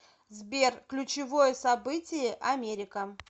сбер ключевое событие америка